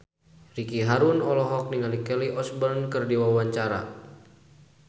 Ricky Harun olohok ningali Kelly Osbourne keur diwawancara